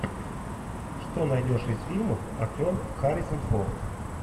что найдешь из фильмов актер харрисон форд